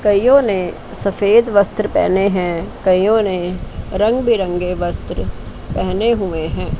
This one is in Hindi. कईयों ने सफेद वस्त्र पहने हैं कईयों ने रंग बिरंगे वस्त्र पहने हुए हैं।